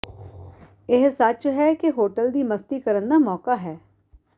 ਇਹ ਸੱਚ ਹੈ ਕਿ ਹੋਟਲ ਦੀ ਮਸਤੀ ਕਰਨ ਦਾ ਮੌਕਾ ਹੈ